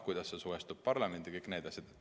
Kuidas see suhestub parlamendiga?